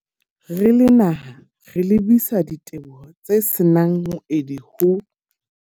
Re le naha, re lebisa diteboho tse se nang moedi ho.